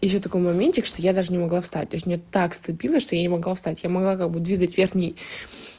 ещё такой моментик что я даже не могла встать то есть меня так сцепило что я не могла встать я могла как бы двигать верхний